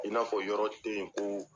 I n'a fɔ yɔrɔ ten yen ko